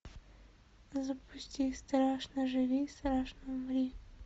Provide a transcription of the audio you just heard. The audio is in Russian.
запусти страшно живи страшно умри